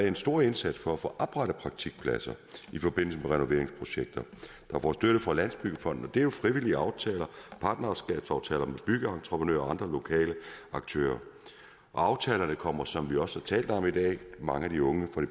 en stor indsats for at få oprettet praktikpladser i forbindelse med renoveringsprojekter der får støtte fra landsbyggefonden det er jo frivillige aftaler partnerskabsaftaler med byggeentreprenører og andre lokale aktører og aftalerne kommer som vi også har talt om i dag mange af de unge fra